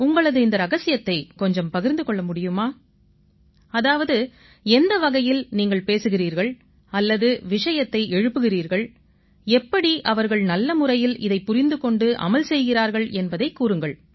உங்களது இந்த ரகசியத்தைக் கொஞ்சம் பகிர்ந்து கொள்ள முடியுமா அதாவது எந்த வகையில் நீங்கள் பேசுகிறீர்கள் அல்லது விஷயத்தை எழுப்புகிறீர்கள் எப்படி அவர்கள் நல்ல முறையில் இதைப் புரிந்து கொண்டு அமல் செய்கிறார்கள் என்பதைக் கூறுங்கள்